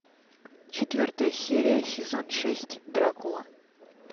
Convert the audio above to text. четвертая серия сезон шесть дракула